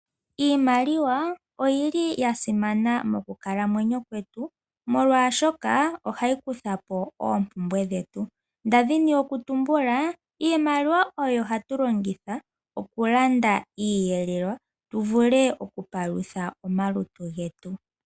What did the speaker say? Iimaliwa oyili yasimana mokukalamwenyo kwetu molwashoka ohayi kuthapo oompumbwe dhetu. Ndadhini okutumbula iimaliwa oyo hatu longitha okulanda iiyelelwa tuvule okupalutha omalutu getu.